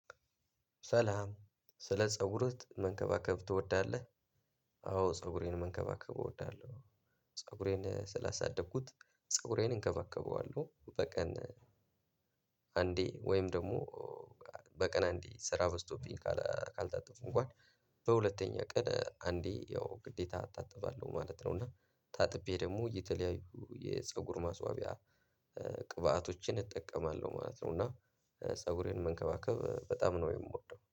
ሰላም ስለ ፀጉርህ መንከባከብ ትወዳለህ? አዎ ፀጉሬን መንከባከብ እወዳለሁ። ፀጉሬን ስላሳደኩት ፀጉሬን እንከባከበዋለሁ በቀን። አንዴ ወይም ደግሞ። በቀን አንዴ ስራ በስቶብኝ ካልታጠብኩ እንኳን በሁለተኛ ቀን አንዴ ያው ግዴታ አታጠባለሁ ማለት ነው። እና ታጥቤ ደግሞ የተለያዩ የፀጉር ማስዋቢያ ቅባቶችን እጠቀማለሁ ማለት ነው። እና ፀጉሬን መንከባከብ በጣም ነው የምወደው